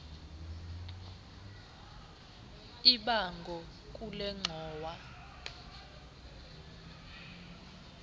ibango kule ngxowa